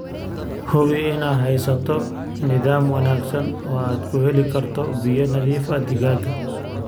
Hubi inaad haysato nidaam wanaagsan oo aad ku heli karto biyo nadiif ah digaagga.